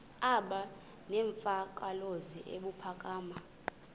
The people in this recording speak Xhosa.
aba nemvakalozwi ebuphakama